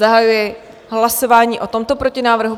Zahajuji hlasování o tomto protinávrhu.